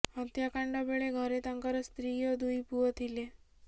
ହତ୍ୟାକାଣ୍ଡ ବେଳେ ଘରେ ତାଙ୍କର ସ୍ତ୍ରୀ ଓ ଦୁଇ ପୁଅ ଥିଲେ